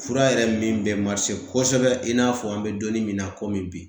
Fura yɛrɛ min bɛ kosɛbɛ i n'a fɔ an bɛ donin min na komi bi